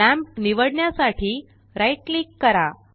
lamp निवडण्यासाठी right click करा